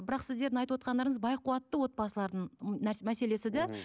бірақ сіздердің айтып отырғандарыңыз бай қуатты отбасылардың м мәселесі де м